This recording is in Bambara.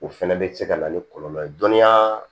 O fɛnɛ bɛ se ka na ni kɔlɔlɔ ye dɔnniya